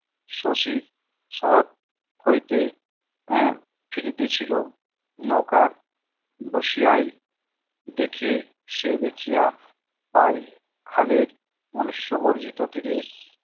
শশী শহর হইতে আহ ফিরিতেছিল নৌকার বসিয়ায় দেখে সে দেখিয়া পায় খালের মনুষ্য বর্জিত তীরে